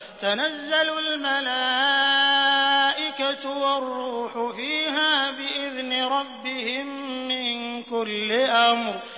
تَنَزَّلُ الْمَلَائِكَةُ وَالرُّوحُ فِيهَا بِإِذْنِ رَبِّهِم مِّن كُلِّ أَمْرٍ